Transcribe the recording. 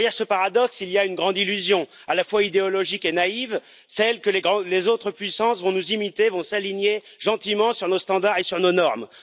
Derrière ce paradoxe, il y a une grande illusion, à la fois idéologique et naïve, celle que les autres puissances vont nous imiter, vont s'aligner gentiment sur nos standards et sur nos normes.